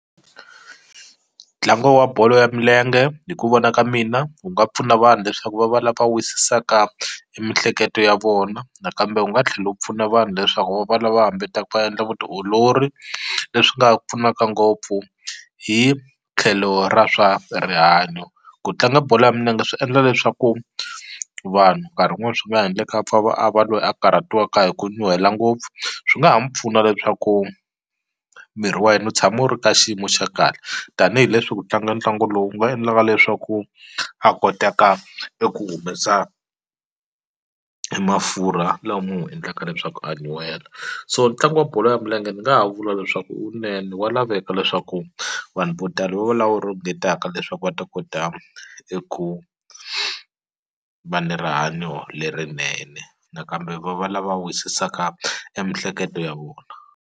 Ntlangu wa bolo ya milenge hi ku vona ka mina wu nga pfuna vanhu leswaku va va lava wisisaka e mihleketo ya vona nakambe u nga tlhela wu pfuna vanhu leswaku va va lava hambeta va endla vutiolori leswi nga pfunaka ngopfu hi tlhelo ra swa rihanyo ku tlanga bolo ya minenge swi endla leswaku vanhu nkarhi wun'wani swi nga endleka a pfa va a va loyi a karhatiwaka hi ku nyuhela ngopfu swi nga mu pfuna leswaku miri wa yena wu tshama wu ri ka xiyimo xa kahle tanihileswi ku tlanga ntlangu lowu nga endlaka leswaku a kotaka eku humesa e mafurha lama n'wu endlaka leswaku a nyuhela so ntlangu wa bolo ya milenge ni nga ha vula leswaku wunene wa laveka leswaku vanhu vo tala lava ringetaka leswaku va ta kota eku va ni rihanyo lerinene nakambe va va lava wisisaka e mihleketo ya vona.